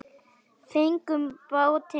Fengum bátinn í dag.